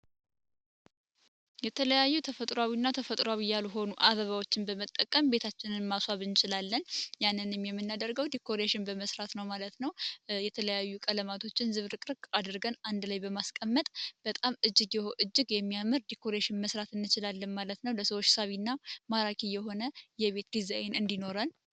የተለያዩ ተፈጥሮና ተፈጥሮ ያልሆኑ አበባዎችን በመጠቀም ቤታችንን ማስዋብ እንችላለን። ያንንም ድኮር በመስራት ነው ማለት ነው። የተለያዩ ቀለማቶችን ዝብረቅርቅ 1 ላይ በማስቀመጥ በጣም እጅግ እጅግ የሚያምር ዲግሪሽን መስራት ማለት ነው ማራኪ የሆነ ዲዛይን እንዲኖረን።